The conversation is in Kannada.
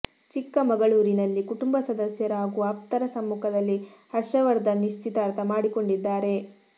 ಚಿಕ್ಕಮಗಳೂರಿನಲ್ಲಿ ಕುಟುಂಬ ಸದಸ್ಯರು ಹಾಗೂ ಆಪ್ತರ ಸಮ್ಮುಖದಲ್ಲಿ ಹರ್ಷವರ್ಧನ್ ನಿಶ್ಚಿತಾರ್ಥ ಮಾಡಿಕೊಂಡಿದ್ದಾರೆ